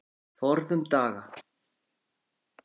Forðum daga.